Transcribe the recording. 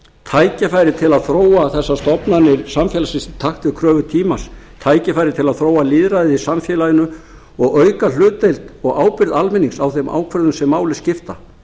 tækifæri til að þróa þessar stofnanir samfélagsins í takt við kröfur tímans tækifæri til að þróa lýðræðið í samfélaginu og auka hlutdeild og ábyrgð almennings á þeim ákvörðunum sem máli skipta